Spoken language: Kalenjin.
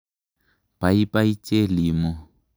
Paipai Chelimo.